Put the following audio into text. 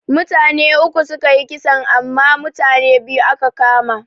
Mutane uku sukayi kisan amma mutane biyu aka kama.